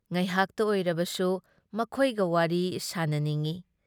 ꯉꯥꯏꯍꯥꯛꯇ ꯑꯣꯏꯔꯕꯁꯨ ꯃꯈꯣꯏꯒ ꯋꯥꯔꯤ ꯁꯥꯅꯅꯤꯡꯢ ꯫